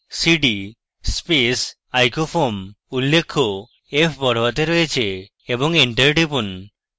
cd space icofoam উল্লেখ্য f বড়হাতে রয়েছে এবং এন্টার টিপুন